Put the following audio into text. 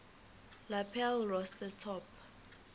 lapel rosette top